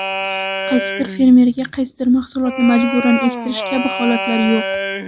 Qaysidir fermerga qaysidir mahsulotni majburan ektirish kabi holatlar yo‘q.